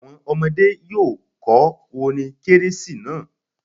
Àwọn ọmọdé́ yóò kọ orin kérésì náà.